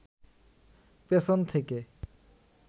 পেছন থেকে